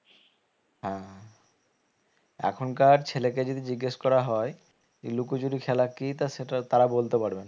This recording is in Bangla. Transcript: হ্যাঁ এখনকার ছেলেকে যদি জিজ্ঞেস করা হয় এই লুকোচুরি খেলা কি তা সেটা তারা বলতে পারবে না